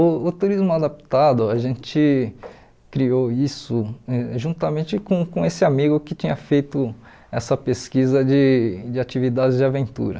O o turismo adaptado, a gente criou isso juntamente com com esse amigo que tinha feito essa pesquisa de de atividades de aventura.